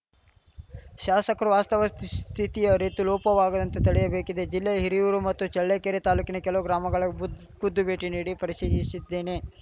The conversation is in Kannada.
ಶಾಸಕರು ವಾಸ್ತವ ಸ್ಥಿತಿ ಅರಿತು ಲೋಪವಾಗದಂತೆ ತಡೆಯಬೇಕಿದೆ ಜಿಲ್ಲೆಯ ಹಿರಿಯೂರು ಮತ್ತು ಚಳ್ಳಕೆರೆ ತಾಲೂಕಿನ ಕೆಲವು ಗ್ರಾಮಗಳಿಗೆ ಬುದ್ ಖುದ್ದು ಭೇಟಿ ನೀಡಿ ಪರಿಶೀಲಿಸಿದ್ದೇನೆ